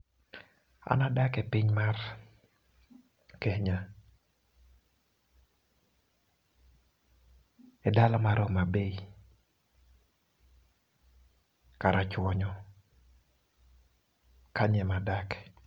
An adak e piny mar Kenya e dala mar Homabay karachuonyo kanyo ema adake.